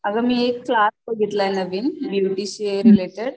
अगं मी एक क्लास बघितलाय नवीन ब्युटी शी रिलेटेड